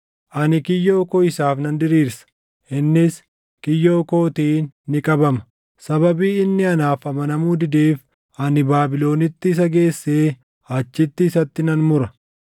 Ani kiyyoo koo isaaf nan diriirsa; innis kiyyoo kootiin ni qabama. Sababii inni anaaf amanamuu dideef ani Baabilonitti isa geessee achitti isatti nan mura.